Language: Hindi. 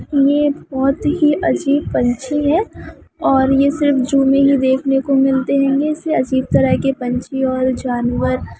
यह बहुत ही अजीब पंछी है और यह सिर्फ जू में ही देखने को मिलते है यह से अजीब तरह के पंछी और जानवर--